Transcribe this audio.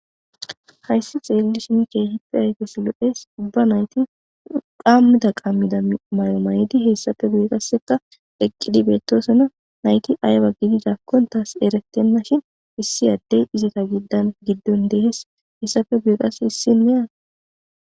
Hayssi xeelli shin keehippe ayges lo'es ubba nayti qammida qammida mayo maydi hessafe guyeqasseka eqqidi beettosona nayti ayba gididakkon taas erettenna shin issi addey izita giddan giddon dehes hessafe guyiqas issin le'a